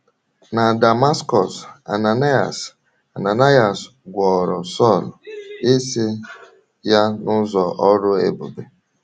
Na Damaskọs, Ananaịas, Ananaịas gwọrọ Sọl ìsì ya n’ụzọ ọrụ ebube.